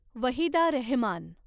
Waheeda Rahman